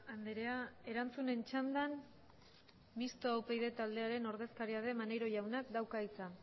andrea erantzunen txandan mistoa upyd taldearen ordezkaria den maneiro jaunak dauka hitza